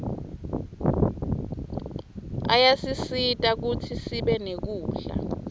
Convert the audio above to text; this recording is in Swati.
ayasisita kutsi sibe nekudla